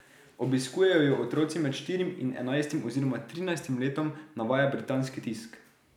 Obiskujejo jo otroci med štirim in enajstim oziroma trinajstim letom, navaja britanski tisk.